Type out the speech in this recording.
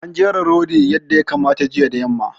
An jera rodi yadda ya kamata jiya da yamma.